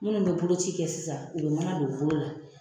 Munnu be bolo ci kɛ sisan, u be mana don u bolo la.